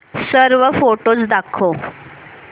सर्व फोटोझ दाखव